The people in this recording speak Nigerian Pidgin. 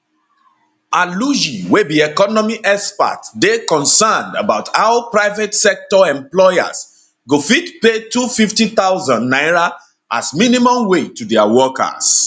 aluyi wey be economy expert dey concerned about how private sector employers go fit pay 250000 naira as minimum wage to dia workers